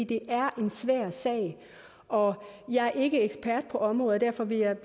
det er en svær sag og jeg er ikke ekspert på området derfor vil jeg